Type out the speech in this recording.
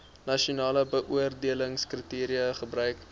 nasionale beoordelingskriteria gebruik